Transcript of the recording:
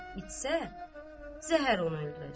İçsə, zəhər onu öldürəcək.